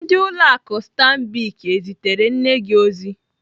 Ndị ụlọ akụ Stambic ezitere nne gi ozi?